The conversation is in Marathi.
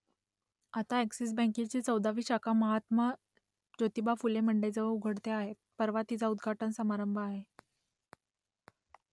आता अ‍ॅक्सिस बँकेची चौदावी शाखा महात्मा ज्योतिबा फुले मंडईजवळ उघडते आहे परवा तिचा उद्घाटन समारंभ आहे